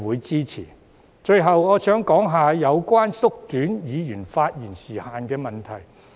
最後，我想談談有關縮短議員發言時限的問題。